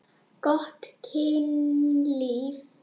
Gott kynlíf.